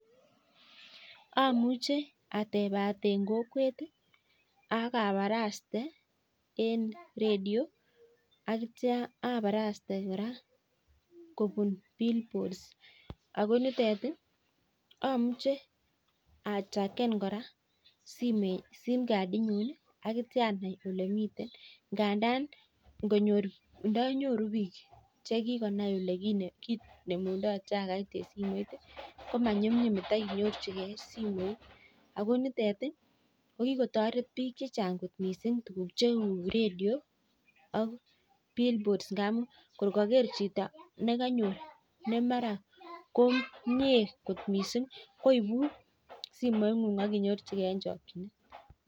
Amuche atepat eng kokwet ak aporaste en radio aneitio aparaste kora en billboards. Ako nitet amuche atrakan kora sim card inyi akitio anai olemitei gandan ndanyoru biik chekikonai ole kinemundoi trakeit eng simoit, ko manyumnyum itaiyorchikei simoit. Ako nitet ko kikotoret biik chechan'g kot mising tukuk cheu radio ak bill boards ngamun koi kaker chito nekanyor ne mara komie kot mising koipun simoing'ung ak inyorchikei eng chokchinet.